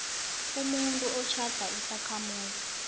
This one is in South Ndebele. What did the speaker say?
umuntu otjhada isakhamuzi